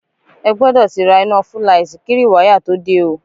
Ẹ gbọdọ̀ ti ra iná fúlaìtì kí rìwáyà tó dé o